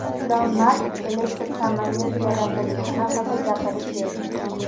Ilon Mask elektr samolyot yaratilishi haqida gapirib berdi.